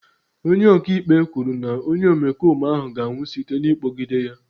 Onye ọka ikpe kwuru na onye omekome ahụ ga-anwụ site n'ịkpọgide ya.